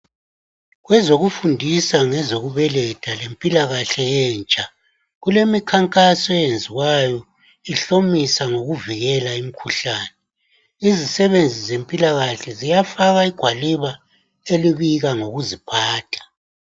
Kwezokufundisa ngezokubeletha lempilakahle yentsha kulemikankaso eyenziwayo ihlomisa ngokuvikela imikhuhlane, izisebenzi zempilakahle ziyafaka igwaliba elibika ngokuziphatha.